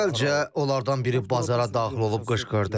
Əvvəlcə onlardan biri bazara daxil olub qışqırdı.